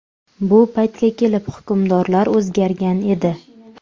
Bu paytga kelib hukmdorlar o‘zgargan edi.